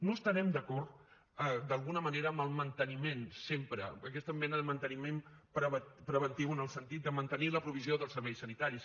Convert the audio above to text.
no estarem d’acord d’alguna manera amb el manteniment sempre aquesta mena de manteniment preventiu en el sentit de mantenir la provisió dels serveis sanitaris